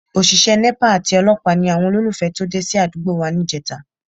Òṣìṣẹ́ Nepa àti olọ́pàá ni àwọn olólùfẹ́ tó dé sí àdúgbò wa níjẹta